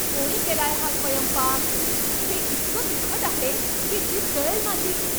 कोणी केलाय हा स्वयंपाक? हे इतकं तिखट आहे हे की जीभ जळेल माझी.